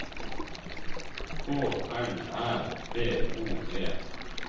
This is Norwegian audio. K L Æ B O E